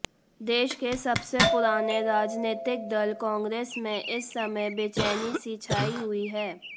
देश के सबसे पुराने राजनीतिक दल कांग्रेस में इस समय बेचैनी सी छाई हुई है